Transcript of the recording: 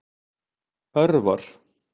Örvar